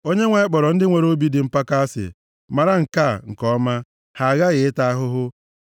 Onyenwe anyị kpọrọ ndị nwere obi dị mpako asị. Mara nke a nke ọma: Ha aghaghị ịta ahụhụ.